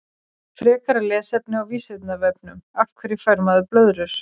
Frekara lesefni á Vísindavefnum Af hverju fær maður blöðrur?